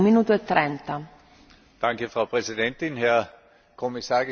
Frau Präsidentin, Herr Kommissar, geschätzte Kolleginnen und Kollegen!